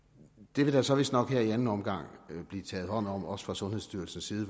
det vil der så vistnok her i anden omgang blive taget hånd om også fra sundhedsstyrelsens side